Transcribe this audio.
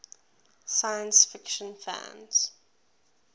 science fiction fans